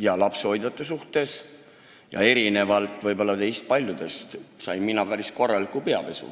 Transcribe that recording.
ja lapsehoidjate suhtes ja erinevalt võib-olla teist paljudest sain ma päris korraliku peapesu.